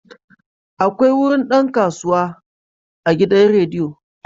Akwai wurin dan kasuwa a gidan rediyo.